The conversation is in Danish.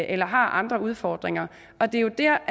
eller har andre udfordringer og det er jo der